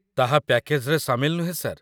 ତାହା ପ୍ୟାକେଜ୍‌ରେ ସାମିଲ ନୁହେଁ, ସାର୍